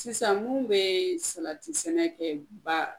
Sisan mun bee sabati sɛnɛ kɛ ba